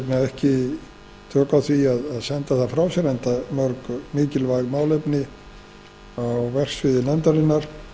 ekki tök á því að senda það frá sér enda mörg mikilvæg málefni á verksviði nefndarinnar